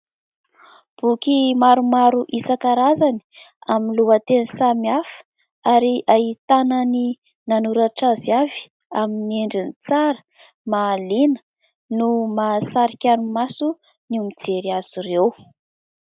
Boky maromaro isan-karazany amin'ny lohateny samihafa ary ahitana ny nanoratra azy avy, amin'ny endriny tsara, mahaliana, no mahasarika ny maso ny mijery azy ireo.